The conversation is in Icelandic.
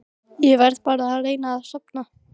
Ég verð bara að reyna að sofna.